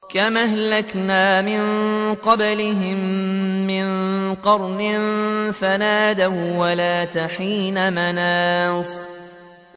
كَمْ أَهْلَكْنَا مِن قَبْلِهِم مِّن قَرْنٍ فَنَادَوا وَّلَاتَ حِينَ مَنَاصٍ